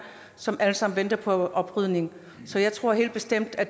som alle sammen venter på oprydning så jeg tror helt bestemt at